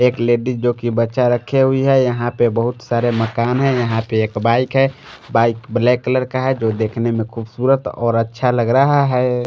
एक लेडिज जोकि बच्चा रखे हुई है यहां पे बहुत सारे मकान हैं यहां पे एक बाइक है बाइक ब्लैक कलर का है जो देखने में खूबसूरत और अच्छा लग रहा है।